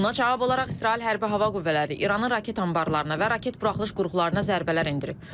Buna cavab olaraq İsrail Hərbi Hava Qüvvələri İranın raket anbarlarına və raket buraxılış qurğularına zərbələr endirib.